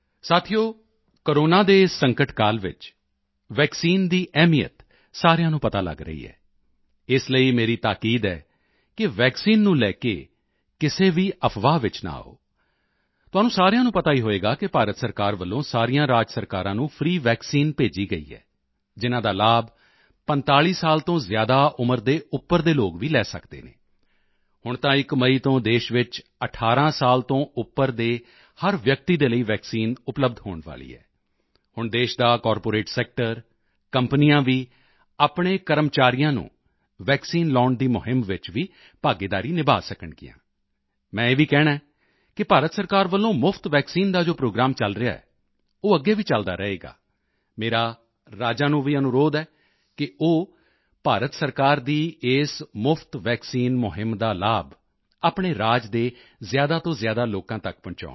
ਸਾਥੀਓ ਕੋਰੋਨਾ ਦੇ ਇਸ ਸੰਕਟਕਾਲ ਵਿੱਚ ਵੈਕਸੀਨ ਦੀ ਅਹਿਮੀਅਤ ਸਾਰਿਆਂ ਨੂੰ ਪਤਾ ਲਗ ਰਹੀ ਹੈ ਇਸ ਲਈ ਮੇਰੀ ਤਾਕੀਦ ਹੈ ਕਿ ਵੈਕਸੀਨ ਨੂੰ ਲੈ ਕੇ ਕਿਸੇ ਵੀ ਅਫਵਾਹ ਵਿੱਚ ਨਾ ਆਓ ਤੁਹਾਨੂੰ ਸਾਰਿਆਂ ਨੂੰ ਪਤਾ ਹੀ ਹੋਵੇਗਾ ਕਿ ਭਾਰਤ ਸਰਕਾਰ ਵੱਲੋਂ ਸਾਰੀਆਂ ਰਾਜ ਸਰਕਾਰਾਂ ਨੂੰ ਫ੍ਰੀ ਵੈਕਸੀਨ ਭੇਜੀ ਗਈ ਹੈ ਜਿਨ੍ਹਾਂ ਦਾ ਲਾਭ 45 ਸਾਲ ਤੋਂ ਜ਼ਿਆਦਾ ਉਮਰ ਦੇ ਉੱਪਰ ਦੇ ਲੋਕ ਲੈ ਸਕਦੇ ਹਨ ਹੁਣ ਤਾਂ 1 ਮਈ ਤੋਂ ਦੇਸ਼ ਵਿੱਚ 18 ਸਾਲ ਤੋਂ ਉੱਪਰ ਦੇ ਹਰ ਵਿਅਕਤੀ ਦੇ ਲਈ ਵੈਕਸੀਨ ਉਪਲੱਬਧ ਹੋਣ ਵਾਲੀ ਹੈ ਹੁਣ ਦੇਸ਼ ਦਾ ਕਾਰਪੋਰੇਟ ਸੈਕਟਰ ਕੰਪਨੀਆਂ ਵੀ ਆਪਣੇ ਕਰਮਚਾਰੀਆਂ ਨੂੰ ਵੈਕਸੀਨ ਲਗਾਉਣ ਦੀ ਮੁਹਿੰਮ ਵਿੱਚ ਵੀ ਭਾਗੀਦਾਰੀ ਨਿਭਾ ਸਕਣਗੀਆਂ ਮੈਂ ਇਹ ਵੀ ਕਹਿਣਾ ਹੈ ਕਿ ਭਾਰਤ ਸਰਕਾਰ ਵੱਲੋਂ ਮੁਫਤ ਵੈਕਸੀਨ ਦਾ ਜੋ ਪ੍ਰੋਗਰਾਮ ਹੁਣ ਚਲ ਰਿਹਾ ਹੈ ਉਹ ਅੱਗੇ ਵੀ ਚਲਦਾ ਰਹੇਗਾ ਮੇਰਾ ਰਾਜਾਂ ਨੂੰ ਵੀ ਅਨੁਰੋਧ ਹੈ ਕਿ ਉਹ ਭਾਰਤ ਸਰਕਾਰ ਦੀ ਇਸ ਮੁਫ਼ਤ ਵੈਕਸੀਨ ਮੁਹਿੰਮ ਦਾ ਲਾਭ ਆਪਣੇ ਰਾਜ ਦੇ ਜ਼ਿਆਦਾ ਤੋਂ ਜ਼ਿਆਦਾ ਲੋਕਾਂ ਤੱਕ ਪਹੁੰਚਾਉਣ